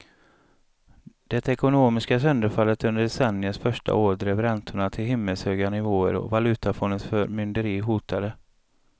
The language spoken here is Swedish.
Det ekonomiska sönderfallet under decenniets första år drev räntorna till himmelshöga nivåer och valutafondens förmynderi hotade.